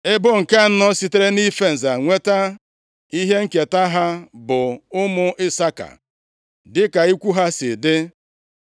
Ebo nke anọ sitere nʼife nza nweta ihe nketa ha bụ ụmụ Isaka dịka ikwu ha si dị.